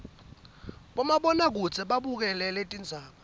bomabona kudze bekubukela tindzaba